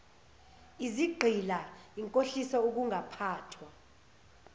izigqila inkohliso ukungaphathwa